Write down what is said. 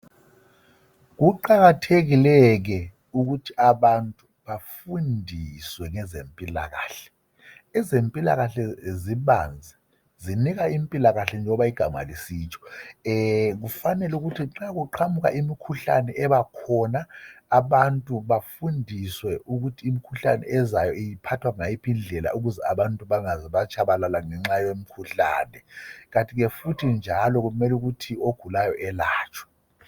Kuqakathekile ke ukuthi abantu bafundiswe ngezempilakahle ezempilakahle zibanzi zinika impilakahle njengoba igama lisitsho kufanele ukuthi nxa uqamba imkhuhlane ebakhona abantu bafundiswe ukuthi imkhuhlane ezayo iphathwa ngayiphi indlela ukuze abantu bangaze batshabalala ngenxa yomkhuhlane kantike futhi njalo kumele ukuthi ogulayo elatshwe.